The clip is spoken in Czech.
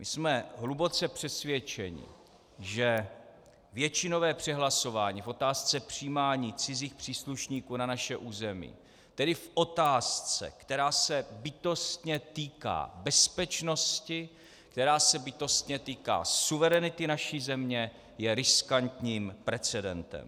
My jsme hluboce přesvědčeni, že většinové přehlasování v otázce přijímání cizích příslušníků na naše území, tedy v otázce, která se bytostně týká bezpečnosti, která se bytostně týká suverenity naší země, je riskantním precedentem.